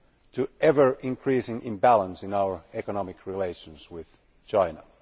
to an ever increasing imbalance in our economic relations with China.